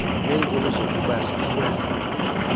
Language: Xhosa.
neenkuni zokubasa fuel